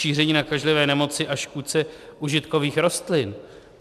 Šíření nakažlivé nemoci a škůdce užitkových rostlin.